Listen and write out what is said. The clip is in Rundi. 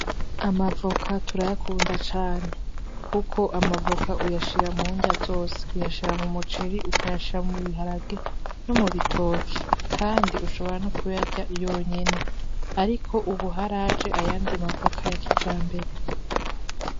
Amavoka turayakunda cane kuko amavoka uyashira mu nrya zose, uyashira m'umuceri, ukayashira mubiharage, no mubitoke, kandi ushobora no kuyarya yonyene. Ariko ubu haraje ayandi mavoka ya kijambere.